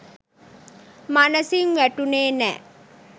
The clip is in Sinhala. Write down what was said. මනසින් වැටුණෙ නෑ.